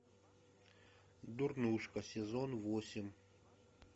дурнушка сезон восемь